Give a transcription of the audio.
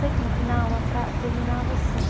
Sei que no final a fra, terminava assim.